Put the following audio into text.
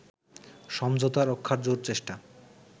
সমঝোতা রক্ষার জোর চেষ্টা